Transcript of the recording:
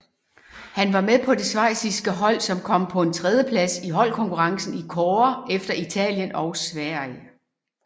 Han var med på det schweiziske hold som kom på en tredjeplads i holdkonkurrencen i kårde efter Italien og Sverige